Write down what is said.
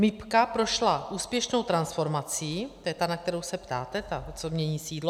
MIB prošla úspěšnou transformací - to je ta, na kterou se ptáte, ta, co mění sídlo.